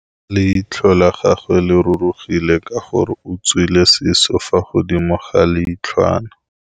Leitlhô la gagwe le rurugile ka gore o tswile sisô fa godimo ga leitlhwana.